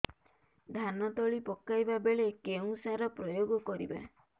ଧାନ ତଳି ପକାଇବା ବେଳେ କେଉଁ ସାର ପ୍ରୟୋଗ କରିବା